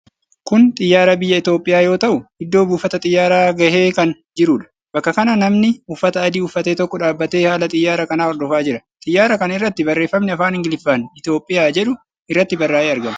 Kun xiyyaara biyya Itoophiyaa yoo ta'u, iddoo buufata xiyyaaraa gahee kan jiruudha. Bakka kana namni uffata adii uffate tokko dhaabatee haala xiyyaara kanaa hordofaa jira. Xiyyyaara kana irratti barreeffamni afaan Ingiliffaan 'Itiyoophiyaa' jedhu irratti barraa'ee argama.